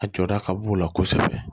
A jɔda ka b'u la kosɛbɛ